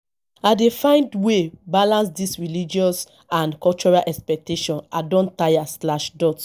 i dey find way balance dese religious and cultural expectations i don tire slash dot